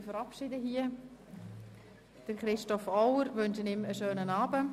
Wir verabschieden uns von Christoph Auer und wünschen ihm einen schönen Abend.